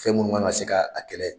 Fɛn minnu kan ka se k'a kɛlɛ.